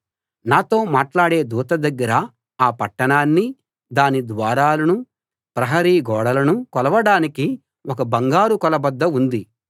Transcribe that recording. నాతో మాట్లాడే దూత దగ్గర ఆ పట్టణాన్నీ దాని ద్వారాలనూ ప్రహరీ గోడనూ కొలవడానికి ఒక బంగారు కొలబద్ద ఉంది